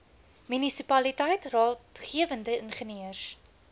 munisipaliteit raadgewende ingenieurs